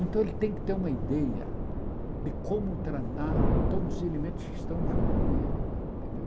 Então, ele tem que ter uma ideia de como tratar todos os elementos que estão junto com ele. Entendeu